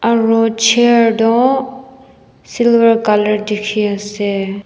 aro chair toh silver colour dikhiase.